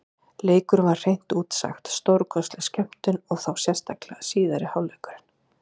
Leikurinn var hreint út sagt stórkostleg skemmtun, og þá sérstaklega síðari hálfleikurinn.